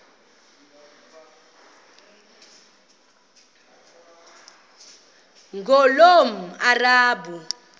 ngulomarabu